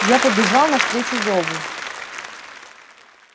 я побежал навстречу зову